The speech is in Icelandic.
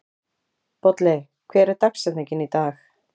Bolli, hver er dagsetningin í dag?